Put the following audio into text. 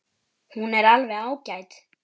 Hún er alveg ágæt.